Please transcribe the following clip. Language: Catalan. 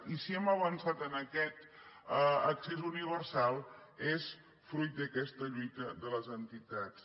i si hem avançat en aquest accés universal és fruit d’aquesta lluita de les entitats